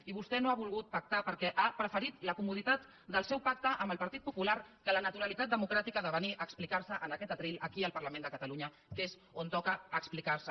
i vostè no ha volgut pactar perquè ha preferit la comoditat del seu pacte amb el partit popular que la naturalitat democràtica de venir a explicar se en aquest faristol aquí al parlament de catalunya que és on toca explicar se